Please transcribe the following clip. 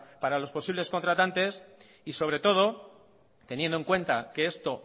para los posibles contratantes y sobre todo teniendo en cuenta que esto